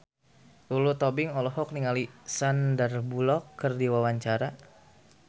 Lulu Tobing olohok ningali Sandar Bullock keur diwawancara